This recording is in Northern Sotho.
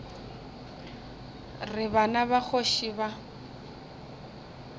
re bana ba kgoši ba